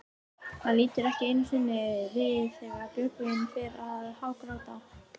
Hann lítur ekki einu sinni við þegar Björgvin fer að hágráta.